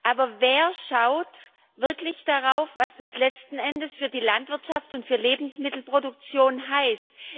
Aber wer schaut wirklich darauf, was das letzten Endes für die Landwirtschaft und für die Lebensmittelproduktion heißt?